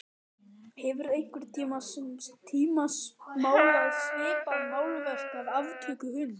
En hefurðu einhvern tíma málað svipað málverk af aftöku hunds?